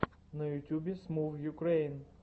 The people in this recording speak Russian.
на ютюбе смувюкрэйн